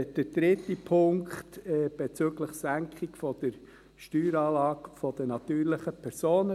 Der dritte Punkt betrifft die Senkung der Steueranlage der natürlichen Personen.